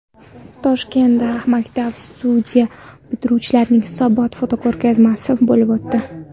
Toshkentda maktab-studiya bitiruvchilarining hisobot fotoko‘rgazmasi bo‘lib o‘tdi.